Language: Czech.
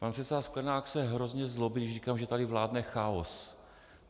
Pan předseda Sklenák se hrozně zlobí, když říkám, že tady vládne chaos.